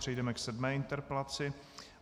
Přejdeme k sedmé interpelaci.